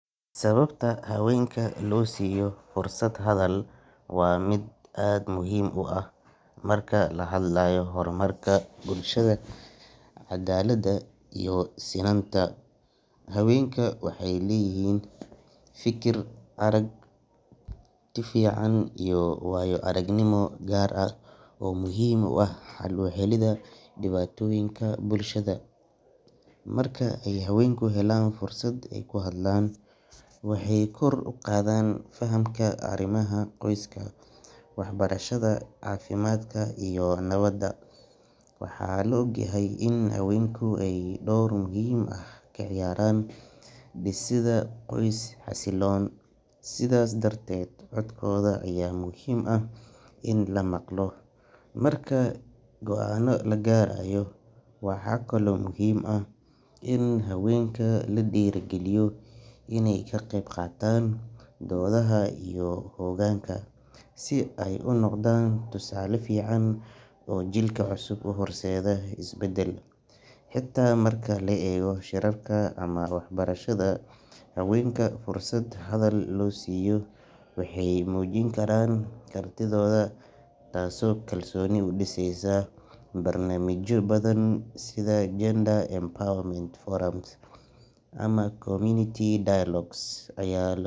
Sababta haweenka loo siiyo fursad hadal waa mid aad muhiim u ah marka laga hadlayo horumarka bulshada, cadaaladda iyo sinnaanta. Haweenku waxay leeyihiin fikir, aragti iyo waayo-aragnimo gaar ah oo muhiim u ah xal u helidda dhibaatooyinka bulshada. Marka ay haweenku helaan fursad ay ku hadlaan, waxay kor u qaadaan fahamka arrimaha qoyska, waxbarashada, caafimaadka iyo nabadda. Waxaa la og yahay in haweenku ay door muhiim ah ka ciyaaraan dhisidda qoys xasiloon, sidaas darteed codkooda ayaa muhiim ah in la maqlo marka go'aanno la gaarayo. Waxaa kaloo muhiim ah in haweenka lagu dhiirrigeliyo inay ka qayb qaataan doodaha iyo hoggaanka, si ay u noqdaan tusaale fiican oo jiilka cusub u horseeda isbeddel. Xitaa marka la eego shirarka ama waxbarashada, haweenka fursad hadal loo siiyo waxay muujin karaan kartidooda, taasoo kalsooni u dhisaysa. Barnaamijyo badan sida gender empowerment forums ama community dialogues ayaa.